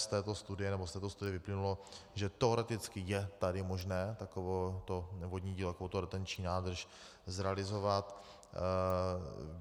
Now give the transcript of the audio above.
Z této studie vyplynulo, že teoreticky je tady možné takovéto vodní dílo, takovouto retenční nádrž zrealizovat.